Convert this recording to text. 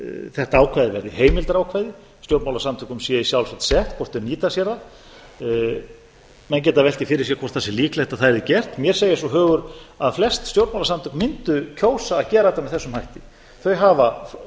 þetta ákvæði verði heimildarákvæði stjórnmálasamtökum sé í sjálfsvald sett hvort þau nýta sér það menn geta velt því fyrir sér hvort það sé líklegt að það yrði gert mér segir svo hugur að flest stjórnmálasamtök mundu kjósa að gera þetta með þessum hætti þau hafa